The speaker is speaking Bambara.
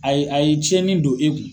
Ayi a ye tiɲɛni don e kun.